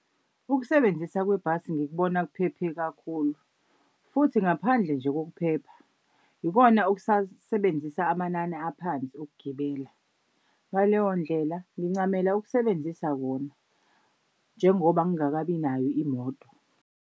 Ukusebenzisa kwebhasi ngikubona kuphephe kakhulu futhi ngaphandle nje kokuphepha, ikona okusasebenzisa amanani aphansi okugibela. Ngaleyo ndlela ngincamela ukusebenzisa kona njengoba ngingakabi nayo imoto.